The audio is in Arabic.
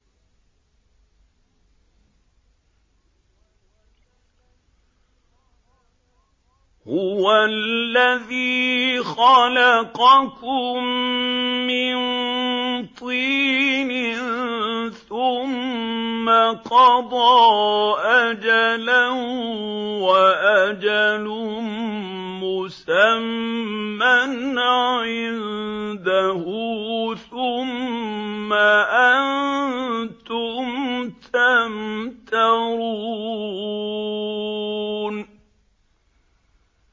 هُوَ الَّذِي خَلَقَكُم مِّن طِينٍ ثُمَّ قَضَىٰ أَجَلًا ۖ وَأَجَلٌ مُّسَمًّى عِندَهُ ۖ ثُمَّ أَنتُمْ تَمْتَرُونَ